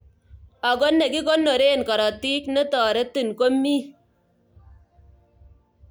Ako nekikonorei karotik netoretin komi.